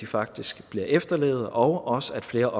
faktisk bliver efterlevet og også at flere